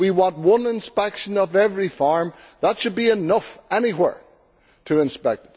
We want one inspection of every farm that should be enough anywhere to inspect.